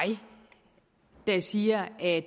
der siger at